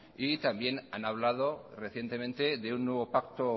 y también han hablado recientemente de un nuevo pacto